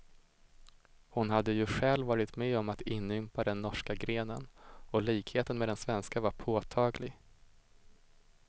Hon hade ju själv varit med om att inympa den norska grenen, och likheten med den svenska var påtaglig.